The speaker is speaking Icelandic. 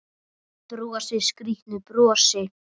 Þú skilur hvað ég meina.